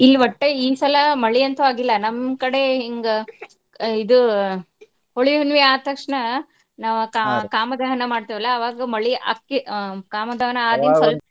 ಇಲ್ಲಿ ಒಟ್ಟ ಈ ಸಲಾ ಮಳಿ ಅಂತು ಆಗಿಲ್ಲಾ ನಮ್ ಕಡೆ ಹಿಂಗ ಅಹ್ ಇದು ಹೋಳಿ ಹುಣ್ಣಮಿ ಆದ್ ತಕ್ಷಣ ನಾವ್ ಕಾ~ ಕಾಮದಹನ ಮಾಡ್ತೇವ್ ಅಲ್ಲಾ ಅವಾಗ್ ಮಳಿ ಆಕ್ಕೇ ಅಹ್ ಕಾಮದಹನ ಆದಿಂದ ಸ್ವಲ್ಪ.